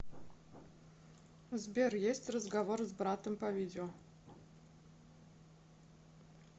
сбер есть разговор с братом по видео